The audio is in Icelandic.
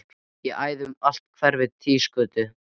Ég æði um allt hverfið, Týsgötu